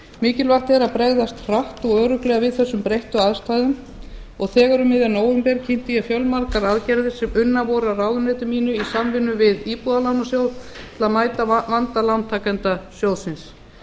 mikilvægt er að bregðast hratt og örugglega við þessum breyttu aðstæðum og þegar um miðjan nóvember kynnti ég fjölmargar aðgerðir sem unnar voru af ráðuneyti bind í samvinnu við íbúðalánasjóð til að mæta vanda lántakenda sjóðsins